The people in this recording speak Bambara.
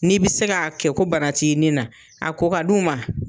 N'i bi se ka kɛ ko bana ti ni na, a ko ka d'u ma.